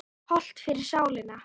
Hollt fyrir sálina.